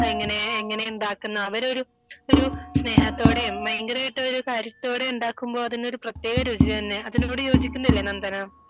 എങ്ങനെ എങ്ങനെ ഉണ്ടാക്കുന്നു അവർ ഒരു ഒരു സ്നേഹത്തോടെയും ഭയങ്കരായിട്ടും ഒരു കാര്യത്തോടെ ഉണ്ടാക്കുമ്പോൾ അതിനു പ്രത്യേക രുചി തന്നെയാ അതിനോട് യോജിക്കുന്നില്ലേ നന്ദന